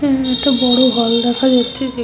এখানে একটা বড় হল দেখা যাচ্ছে যে--